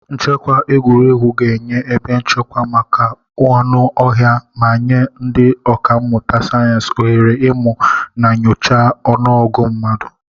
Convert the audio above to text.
Nchekwa egwuregwu ga-enye ebe nchekwa maka anụ ọhịa ma nye ndị ọkà mmụta sayensị ohere ịmụ na nyochaa ọnụọgụ mmadụ.